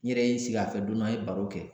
N yɛrɛ ye n sigi a fɛ don dɔ a ye baro kɛ